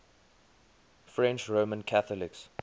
french roman catholics